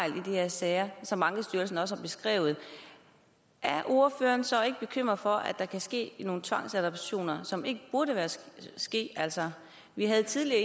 i de her sager som ankestyrelsen også har beskrevet er ordføreren så ikke bekymret for at der kan ske nogle tvangsadoptioner som ikke burde ske altså vi indkaldte tidligere